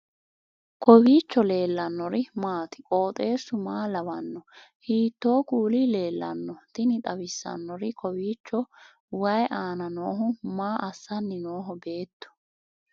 kowiicho leellannori maati ? qooxeessu maa lawaanno ? hiitoo kuuli leellanno ? tini xawissannori kowiicho wayi aana noohu maa assanni nooho beettu